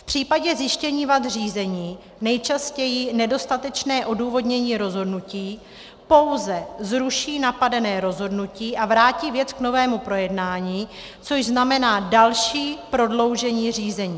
V případě zjištění vad řízení, nejčastěji nedostatečné odůvodnění rozhodnutí, pouze zruší napadené rozhodnutí a vrátí věc k novému projednání, což znamená další prodloužení řízení.